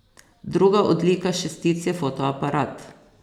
Druga odlika šestic je fotoaparat.